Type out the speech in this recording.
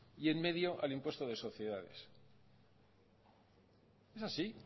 y en medio al impuesto de sociedades es así